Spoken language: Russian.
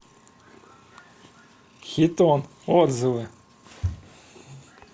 хитон отзывы